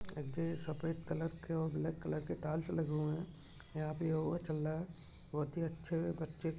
इथे सफ़ेद कलर और ब्लाक कलर के टाइल्स लगे हुए है यहाँ पे योगा चल रहा है बहुत ही अच्छे बच्चे--